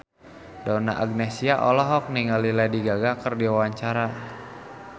Donna Agnesia olohok ningali Lady Gaga keur diwawancara